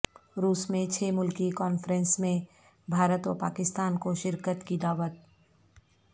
روس میں چھ ملکی کانفرنس میں بھارت و پاکستان کو شرکت کی دعوت